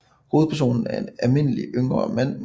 Hovedpersonen er en almindelig yngre mand